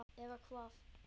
eða hvað?